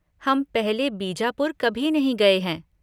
हम पहले बीजापुर कभी नहीं गए हैं।